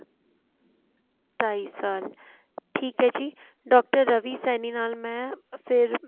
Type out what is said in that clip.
ਢਾਈ ਸਾਲ ਠੀਕ ਹੈ ਜੀ doctor ਰਵੀ ਸੈਣੀ ਨਾਲ ਮੈਂ ਫ਼ੇਰ